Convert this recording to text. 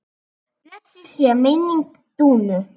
Blessuð sé minning Dúnu.